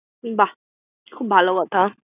বাহ! খুব ভালো কথা।